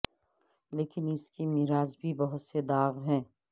لیکن اس کی میراث بھی بہت سے داغ ہیں